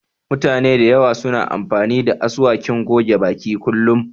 Mutane da yawa suna amfani da asuwakin goge baki kullum